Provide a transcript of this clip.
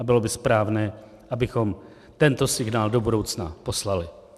A bylo by správné, abychom tento signál do budoucna poslali.